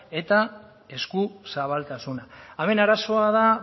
eta eskuzabaltasuna hemen arazoa da